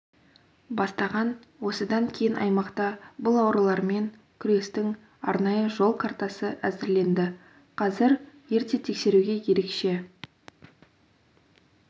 бастаған осыдан кейін аймақта бұл аурулармен күрестің арнайы жол картасы әзірленді қазір ерте тексеруге ерекше